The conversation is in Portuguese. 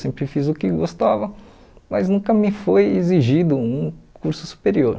Sempre fiz o que gostava, mas nunca me foi exigido um curso superior.